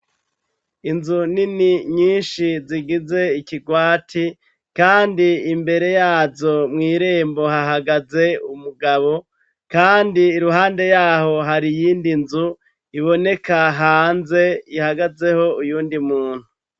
Inzu nini nyinshi zigize ikirwati, kandi imbere yazo mw'irembo hahagaze umugabo, kandi iruhande yaho hari iyindi nzu iboneka hanze ihagazeho uyundi muntu.